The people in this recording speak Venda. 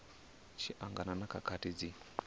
tshi angana na khakhathi dzi